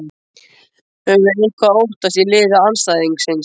Höfum við eitthvað að óttast í liði andstæðingsins?